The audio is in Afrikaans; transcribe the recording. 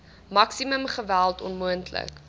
maksimum geweld onmoontlik